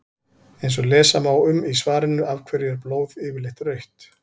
eins og lesa má um í svarinu af hverju er blóð yfirleitt rautt